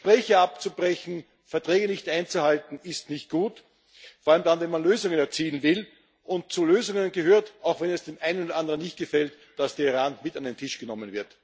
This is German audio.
Gespräche abzubrechen, Verträge nicht einzuhalten ist nicht gut, vor allem dann, wenn man Lösungen erzielen will. Und zu Lösungen gehört, auch wenn es dem einen oder anderen nicht gefällt, dass der Iran mit an den Tisch genommen wird.